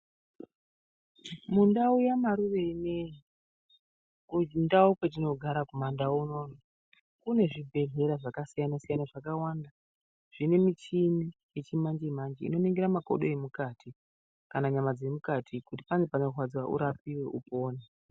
Mundau yaMaruvene kundau kwetinogara kumandau unono kune zvibhedhlera zvakasiyana siyana zvakawanda zvine michini yechimanje manje inoningira makodo emukati kana nyama dzemukati , kuti pane panorwadza kuti urapiwe upone .